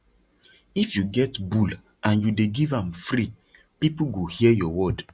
if you get bull and you dey give am free people go hear your word